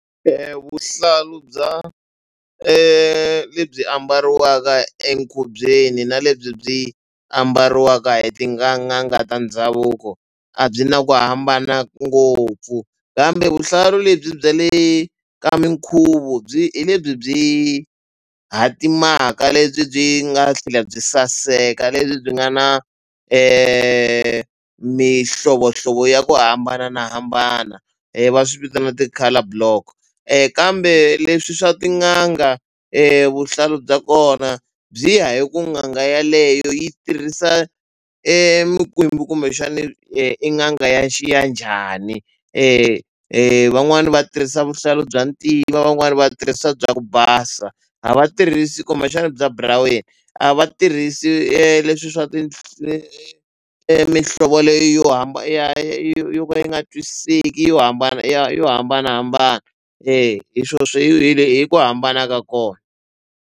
Vuhlalu bya lebyi ambariwaka enkhubyeni na lebyi byi ambariwaka hi tin'anga ta ndhavuko a byi na ku hambana ngopfu kambe vuhlalu lebyi bya le ka mikhuvo byi hi lebyi byi hatimaka lebyi byi nga tlhela byi saseka lebyi byi nga na mihlovohlovo ya ku hambanahambana va swi vitana ti-colour block kambe leswi swa tin'anga vuhlalu bya kona byi ya hi ku n'anga yeleyo yi tirhisa e mikwembu kumbexani i n'anga ya ya njhani. Van'wani va tirhisa vuhlalu bya ntima van'wani va tirhisa bya ku basa a va tirhisi kumbexana bya buraweni a va tirhisi leswiya swa mihlovo leyi yo yo ka yi nga twisiseki yo hambana yo hambanahambana eya hi swo swi i ku hambana ka kona.